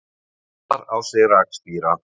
Úðar á sig rakspíra.